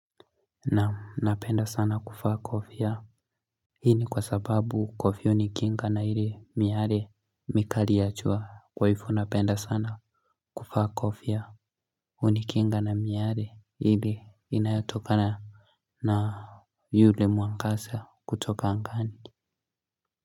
Naam napenda sana kuvaa kofia. Hii ni kwa sababu kofia unikinga na ile miale mikali ya jua kwa hivo napenda sana kuvaa kofia unikinga na miale ile inayotokana na yule mwangaza kutoka angani.